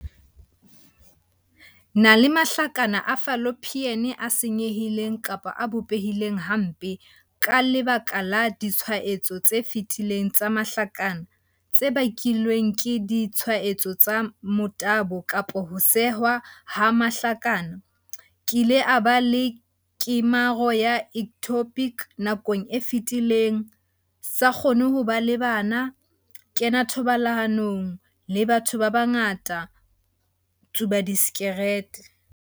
Na le mahlakana a fallopian a senyehileng kapa a bopehileng hampe, ka leba ka la ditshwaetseho tse fetileng tsa mahlakana, tse bakilweng ke ditshwaetso tsa motabo kapa ho sehwa ha mahlakana - kile a ba le kemaro ya ectopic nakong e fetileng - sa kgone ho ba le bana - kena thobalanong le batho ba bangata - tsuba disikarethe.